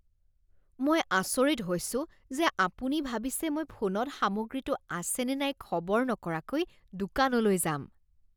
মই আচৰিত হৈছোঁ যে আপুনি ভাবিছে মই ফোনত সামগ্ৰীটো আছেনে নাই খবৰ নকৰাকৈ দোকানলৈ যাম।